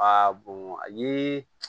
a ye